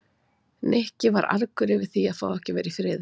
Nikki var argur yfir því að fá ekki að vera í friði.